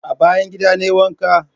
A bayan gida na yi wanka.